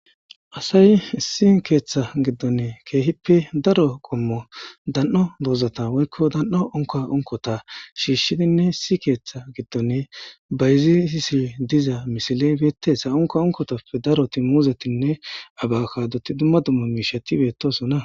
asay issi keeththa giddonne keehippe daro gommo dan7o doozata woykko dan7o onka unkota shiishidinne issi keeththa giddone bayziisi diza misile beettesa onka unkotoppe daroti muuzetinne abakkadot dumma dummo miishetibetosona